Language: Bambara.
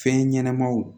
Fɛn ɲɛnɛmaw